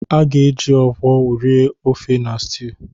A ga-eji Okpor rie ofe na stew.